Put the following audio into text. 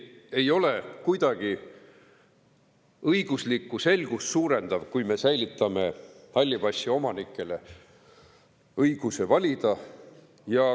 Ei ole kuidagi õiguslikku selgust suurendav, kui me säilitame halli passi omanikele õiguse valida.